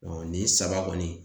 nin saba kɔni